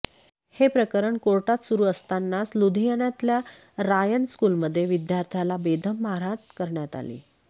हे प्रकरण कोर्टात सुरु असतानाच लुधियानातल्या रायन स्कुलमध्ये विद्यार्थ्याला बेदम मारहाण करण्यात आली